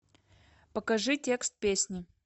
покажи текст песни